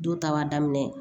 Do ta b'a daminɛ